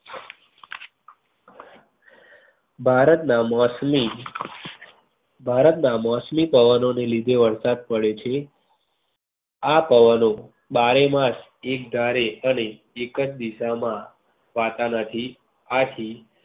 ભારત ના મોસમી ભારતના મોસમી પવનો ની લીધે વરસાદ પડે છે. આ પવનો બારે માસ એક ધારે અને એક જ દીશા માં ફુંકાતા નથી આથી